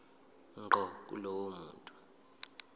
ngqo kulowo muntu